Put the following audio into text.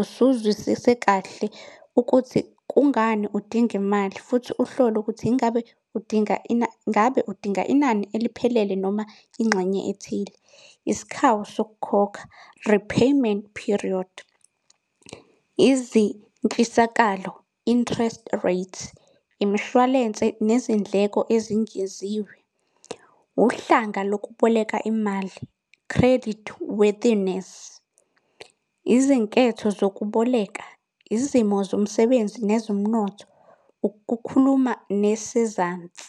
usuzwisise kahle ukuthi kungani udinga imali, futhi uhlole ukuthi ingabe udinga ngabe udinga inani eliphelele noma ingxenye ethile. Isikhawu sokukhokha, repayment period. Izintshisakalo, interest rates. Imishwalense, nezindleko ezingeziwe. Wuhlanga lokuboleka imali, credit worthyness. Izinketho zokuboleka, izimo zomsebenzi nezomnotho. Ukukhuluma nesezansi.